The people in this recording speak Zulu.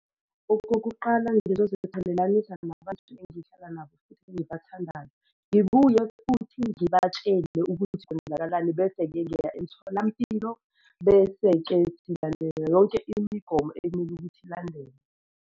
Okokuqala, ngizoziqhelelanisa nabantu engihlala nabo futhi engibathandayo, ngibuye futhi ngibatshele ukuthi kwenzakalani bese-ke ngiya emtholampilo. Bese-ke silandela yonke imigomo ekumele ukuthi ilandelwe.